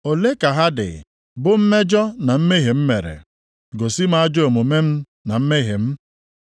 Ole ka ha dị bụ mmejọ na mmehie m mere? Gosi m ajọ omume m na mmehie m.